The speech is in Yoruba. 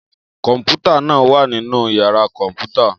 Kọmputa naa wa ninu yara kọnputa